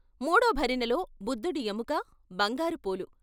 మూడో భరిణెలో బుద్ధుడి ఎముక, బంగారు పూలు.